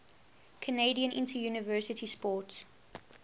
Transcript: canadian interuniversity sport